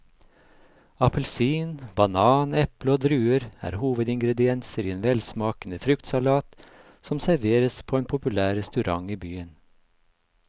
Appelsin, banan, eple og druer er hovedingredienser i en velsmakende fruktsalat som serveres på en populær restaurant i byen.